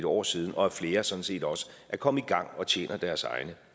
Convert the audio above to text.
år siden og at flere sådan set også er kommet i gang og tjener deres egne